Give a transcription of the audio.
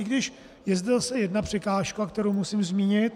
I když je zde zase jedna překážka, kterou musím zmínit.